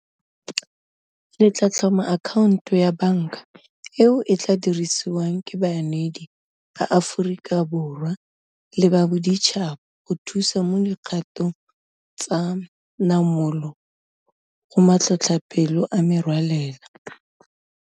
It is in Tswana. le tla tlhoma akhaonto ya banka eo e tla dirisiwang ke baneedi ba Aforika Borwa le ba boditšhaba go thusa mo dikgatong tsa namolo go matlhotlhapelo a merwalela.